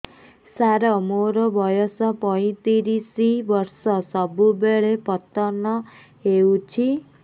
ସାର ମୋର ବୟସ ପୈତିରିଶ ବର୍ଷ ସବୁବେଳେ ପତନ ହେଉଛି